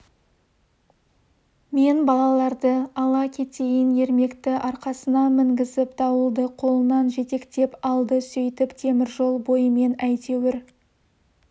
мен балаларды ала кетейін ермекті арқасына мінгізіп дауылды қолынан жетектеп алды сөйтіп темір жол бойымен әйтеуір